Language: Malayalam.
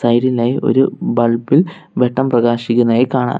ഒരു ബൾബ് ഇൽ വെട്ടം പ്രകാശിക്കുന്നതായി കാണാം.